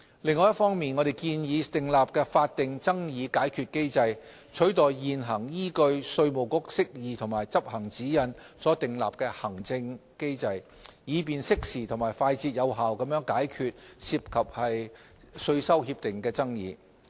另一方面，我們建議訂立法定爭議解決機制，取代現行依據稅務局釋義及執行指引所訂立的行政機制，以便適時及快捷有效地解決涉及稅收協定的爭議。